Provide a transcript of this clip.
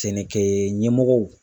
Sɛnɛkɛ ɲɛmɔgɔw